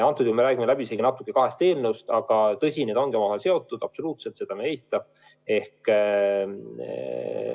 Praegu me räägime natuke läbisegi kahest eelnõust, aga tõsi, need ongi omavahel seotud, absoluutselt, seda ma ei eita.